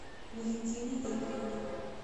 валентины игоревны